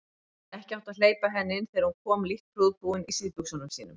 Ekki átti að hleypa henni inn þegar hún kom lítt prúðbúin í síðbuxunum sínum.